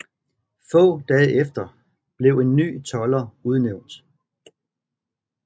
Få dage efter blev en ny tolder udnævnt